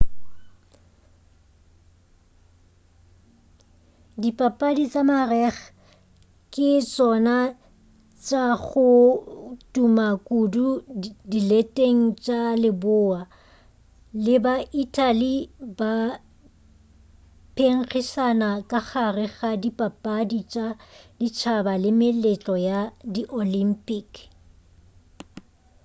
dipapadi tša marega ke tšona tša go tuma kudu dileteng tša leboa le ba-italy ba phenkgišana ka gare ga dipapadi tša ditšhaba le meletlo ya di olympic